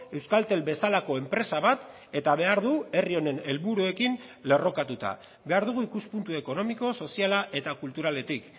euskaltel bezalako enpresa bat eta behar du herri honen helburuekin lerrokatuta behar dugu ikuspuntu ekonomiko soziala eta kulturaletik